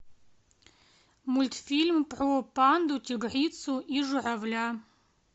мультфильм про панду тигрицу и журавля